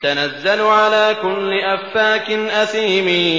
تَنَزَّلُ عَلَىٰ كُلِّ أَفَّاكٍ أَثِيمٍ